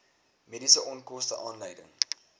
mediese onkoste aanleiding